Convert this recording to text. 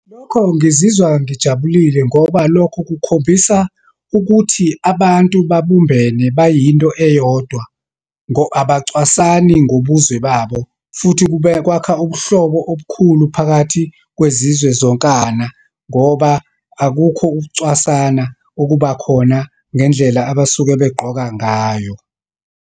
Lokho ngizizwa ngijabulile, ngoba lokho kukhombisa ukuthi abantu babumbene, bayinto eyodwa, abacwasani ngobuzwe babo. Futhi kube kwakha ubuhlobo obukhulu phakathi kwezizwe zonkana, ngoba akukho ukucwasana okubakhona ngendlela abasuke begqoka ngayo.